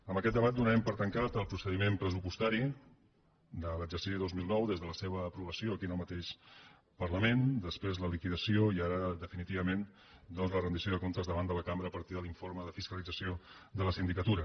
amb aquest debat donarem per tancat el procediment pressupostari de l’exercici dos mil nou des de la seva aprovació aquí en el mateix parlament després la liquidació i ara definitivament la rendició de comptes davant de la cambra a partir de l’informe de fiscalització de la sindicatura